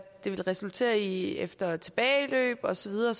det vil resultere i efter tilbageløb og så videre